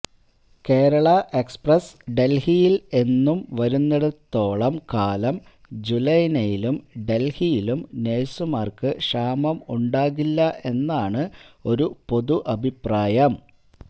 Kerala express ഡല്ഹിയില് എന്നും വരുന്നിടത്തോളം കാലം ജുലെനയിലും ഡല്ഹിയിലും നേഴ്സുമാര്ക്ക് ക്ഷാമം ഉണ്ടാകില്ല എന്നാണ് ഒരു പൊതു അഭിപ്രായം